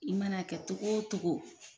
I man'a kɛ togo o togo